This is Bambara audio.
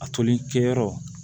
A toli kɛyɔrɔ